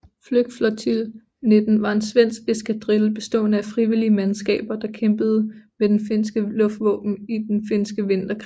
Flygflottilj 19 var en svensk eskadrille bestående af frivillige mandskaber der kæmpede med det finske luftvåben i den finske vinterkrig